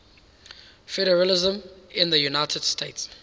federalism in the united states